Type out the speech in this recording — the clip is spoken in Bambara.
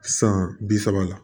San bi saba la